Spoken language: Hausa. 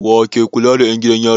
Wa ke kula da 'yan gidan yari?